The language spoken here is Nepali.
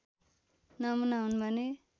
नमुना हुन् भने